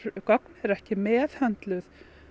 gögn eru ekki meðhöndluð